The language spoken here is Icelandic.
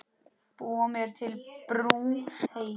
Búa mér til brú heim.